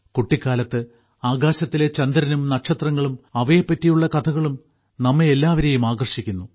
കുട്ടിക്കാലത്ത് ആകാശത്തിലെ ചന്ദ്രനും നക്ഷത്രങ്ങളും അവയെ പറ്റിയുള്ള കഥകളും നമ്മെ എല്ലാവരേയും ആകർഷിക്കുന്നു